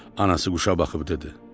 Anası quşa baxıb dedi: